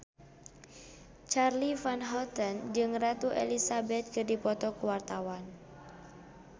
Charly Van Houten jeung Ratu Elizabeth keur dipoto ku wartawan